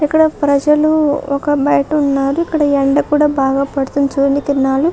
ఇక్కడ ప్రజలు ఒక బైట ఉన్నారు ఇక్కడ ఎండ కూడా బాగా పడుతుంది సూర్యకిరణాలు --